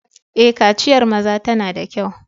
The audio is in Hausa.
Eh, kaciyar maza tana da kyau.